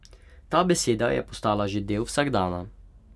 Ta beseda je postala že del vsakdana.